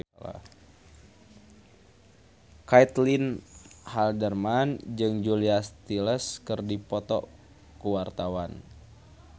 Caitlin Halderman jeung Julia Stiles keur dipoto ku wartawan